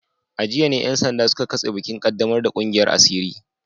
A jiya ne ‘yan sanda suka katse bikin kaddamar da kungiyar asiri